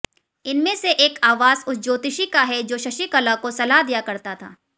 इनमें से एक आवास उस ज्योतिषी का है जो शशिकला को सलाह दिया करता था